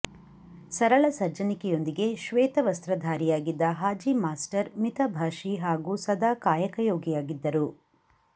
ಸರಳ ಸಜ್ಜನಿಕೆಯೊಂದಿಗೆ ಶ್ವೇತವಸ್ತ್ರಧಾರಿಯಾಗಿದ್ದ ಹಾಜಿ ಮಾಸ್ಟರ್ ಮಿತ ಭಾಷಿ ಹಾಗೂ ಸದಾ ಕಾಯಕಯೋಗಿದ್ದರು